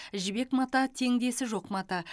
жібек мата теңдесі жоқ мата